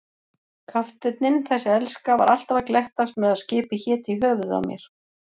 Kafteinninn, þessi elska, var alltaf að glettast með að skipið héti í höfuðið á mér.